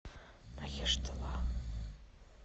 махештала